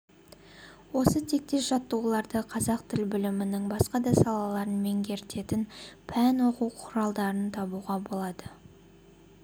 осы тектес жаттығуларды қазақ тіл білімінің басқа да салаларын меңгертетін пән оқу құралдарынан табуға болады